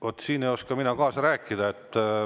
Vaat siin ei oska mina kaasa rääkida.